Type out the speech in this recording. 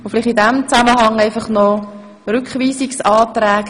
In diesem Zusammenhang möchte ich Sie auf folgendes hinweisen: